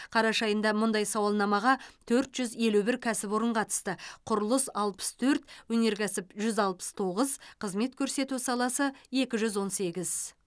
қараша айында мұндай сауалнамаға төрт жүз елу бір кәсіпорын қатысты құрылыс алпыс төрт өнеркәсіп жүз алпыс тоғыз қызмет көрсету саласы екі жүз он сегіз